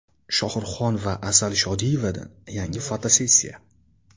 Shohruhxon va Asal Shodiyevadan yangi fotosessiya .